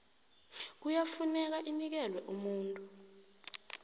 kuyafuneka inikelwe umuntu